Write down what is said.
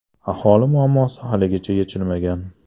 Aholi muammosi haligacha yechilmagan.